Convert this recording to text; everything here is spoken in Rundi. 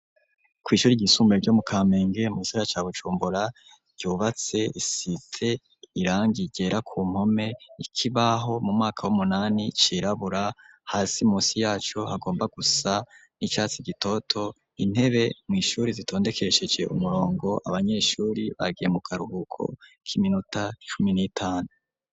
kw'ishuri ry'isumbuye ryo mu Kamenge mugisagara ca Bujumbura ryubatse isize irangi ryera ku mpome ikibaho mu mwaka w'umunani cirabura hasi munsi yacu hagomba gusa n'icatsi gitoto .Intebe mw'ishuri zitondekesheje umurongo abanyeshuri bagiye mu karuhuko k'iminota icumi n'itanu.